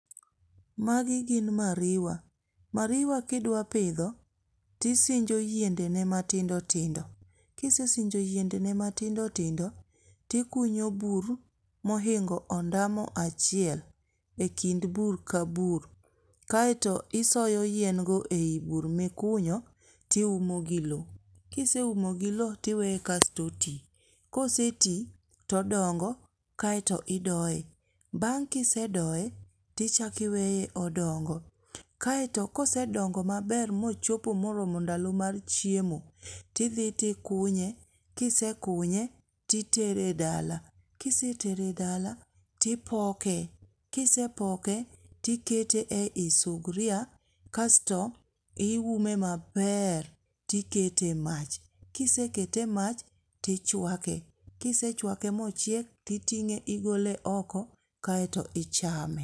Magi gin mariwa. mariwa kidwa pidho tisinjo yiendene matindo tindo. Kisesinjo yiendene matindo tindo, tikunyo bur mohingo ondamo achiel e kind bur ka bur kaeto isoyo yiengo e i bur mikunyo tiumo gi lo. Kiseumo gi lowo tiweye kasto oti. Koseti todongo kaeto idoye, bang' kisedoye, tichako iweye odongo. Kaeto kosedongo maber mochopo ndalo mar chiemo, tidhi tikunye kisekunye titere dala. Kisetere dala tipke. Kisepoke, tikete ei suguria kasto iume maber tikete e mach. Kisekete e mach tichwake. Kisechwake mochiek titing'e igole oko ,kaeto ichame.